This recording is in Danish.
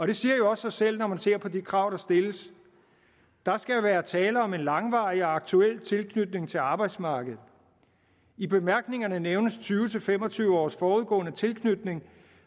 det siger også sig selv når man ser på de krav der stilles der skal være tale om en langvarig og aktuel tilknytning til arbejdsmarkedet i bemærkningerne nævnes tyve til fem og tyve års forudgående tilknytning